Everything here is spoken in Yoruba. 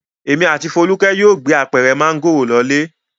Èmi àti Folúkẹ́ yóò gbé apẹ̀rẹ̀ mángòrò lọ ilé.